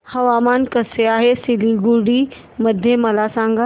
हवामान कसे आहे सिलीगुडी मध्ये मला सांगा